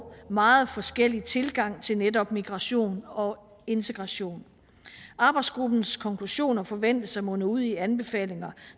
meget forskellig tilgang til netop migration og integration arbejdsgruppens konklusioner forventes at munde ud i anbefalinger